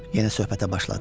Yenə söhbətə başladı.